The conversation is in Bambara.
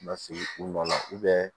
Lasigi u nɔ na